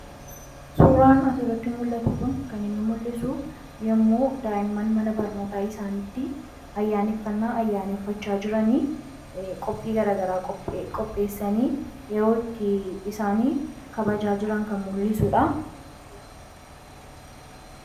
Suuraan as irratti mul'atu kun kan inni mul'isu yommuu daa'imman mana barnootaa isaantti ayyaaneffannaa ayyaaneeffachaa jiran qophii garagaraa qopheessanii yeroo itti isaanii kabajaa jiran kan mul'isuudha.